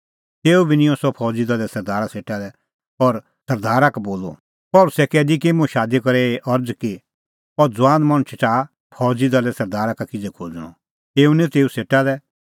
तेऊ बी निंयं सह फौज़ी दले सरदारा सेटा लै और सरदारा का बोलअ पल़सी कैदी की मुंह शादी करै एही अरज़ कि अह ज़ुआन मणछ च़ाहा फौज़ी दले सरदारा का किज़ै खोज़णअ एऊ निंऊं तेऊ सेटा लै